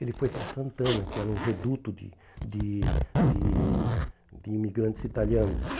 Ele foi para Santana, que era um reduto de de de de imigrantes italianos.